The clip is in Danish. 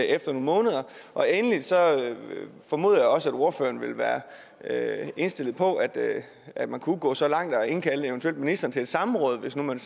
efter nogle måneder og endelig formoder jeg også at ordføreren vil være indstillet på at at man kunne gå så langt eventuelt at indkalde ministeren til et samråd hvis nu man